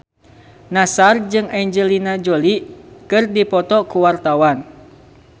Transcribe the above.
Nassar jeung Angelina Jolie keur dipoto ku wartawan